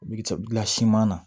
Bi sela siman na